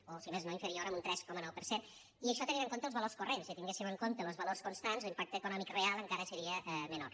o si més no inferior amb un tres coma nou per cent i això tenint en compte els valors corrents si tinguéssim en compte los valors constants l’impacte econòmic real encara seria menor